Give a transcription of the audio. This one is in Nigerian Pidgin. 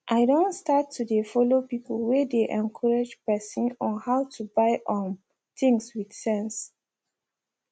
i don start to dey follow people whey dey encourage person on how to buy um things with sense